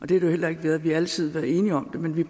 det jo heller ikke været vi har altid været enige om det men vi